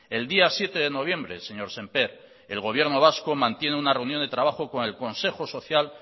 el día siete de noviembre señor sémper el gobierno vasco mantiene una reunión de trabajo con el consejo social